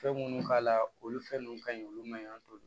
Fɛn minnu k'a la olu fɛn ninnu ka ɲi olu ma ɲi an bolo